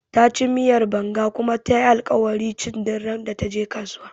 Taci miyar Banga kuma tayi alkawarin ci duk randa taje kasuwa